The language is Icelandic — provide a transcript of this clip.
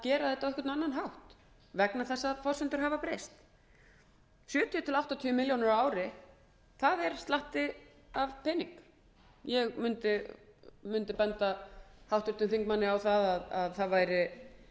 vegna þess að forsendur hafa breyst sjötíu til áttatíu milljónir á ári er slatti af peningum ég bendi háttvirtum þingmönnum á að ræða sjötíu til áttatíu milljónir á ári við